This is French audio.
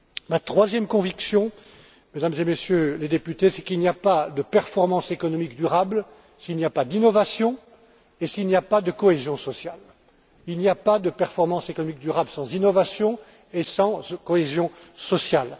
Ma troisième conviction, Mesdames et Messieurs les députés, c'est qu'il n'y a pas de performance économique durable s'il n'y a pas d'innovation et s'il n'y a pas de cohésion sociale.